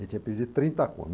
Ele tinha perdido trinta